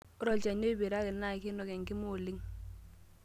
Ore olchani oiperraki naa keinok enkima oleng'.